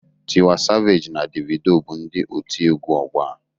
Tiwa Saveji na Devido bụ ndị otiegwu ọgbọ a.